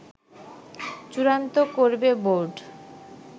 চূড়ান্ত করবে বোর্ড